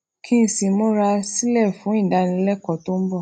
kí n sì múra sílè fún ìdánilékòó tó ń bò